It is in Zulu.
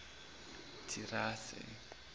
thirase